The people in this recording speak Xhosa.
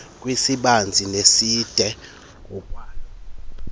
kwisibanzi neside ngokwaloo